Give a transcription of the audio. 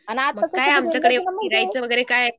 मग काय आमच्याकडे फिरायचं वगैरे काय